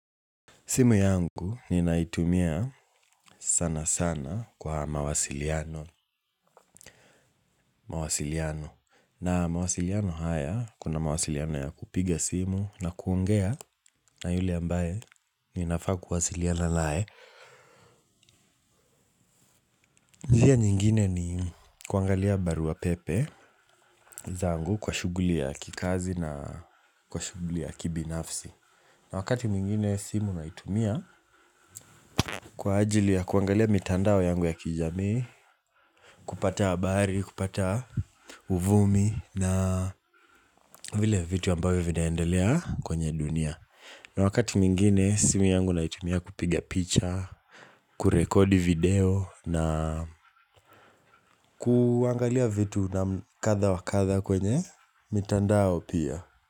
Simu yangu ninaitumia sanasana kwa mawasiliano. Mawasiliano. Na mawasiliano haya kuna mawasiliano ya kupiga simu na kuongea na yule ambaye ninafaa kuwasiliana nae. Njia nyingine ni kuangalia barua pepe zangu kwa shughuli ya kikazi na kwa shughuli ya kibinafsi. Na wakati mingine simu naitumia kwa ajili ya kuangalia mitandao yangu ya kijamii, kupata habari, kupata uvumi na vile vitu ambavyo vinaendelea kwenye dunia. Na wakati mwingine simu yangu naitumia kupiga picha, kurekodi video na kuangalia vitu na kadha wakadha kwenye mitandao pia.